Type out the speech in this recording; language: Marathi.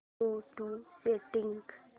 go to settings